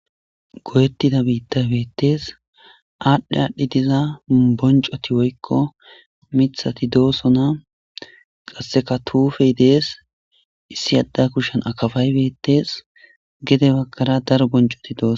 Goyetida bittayi beteesi. Aadhi aadhi diza bonccoti woykko miththati de'osonna. Qassekka tuupeyi de'eesi. Issi adde kushen akaapayi beteesi. Gede baggara daro bonccoti de'osonna.